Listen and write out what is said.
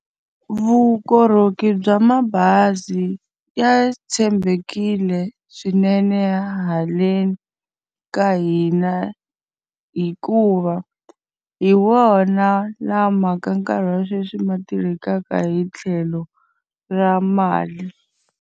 Vukorhokeri bya mabazi ya tshembekile swinene haleni ka hina hikuva, hi wona lama ka nkarhi wa sweswi ma tirhisekaka hi tlhelo ra mali.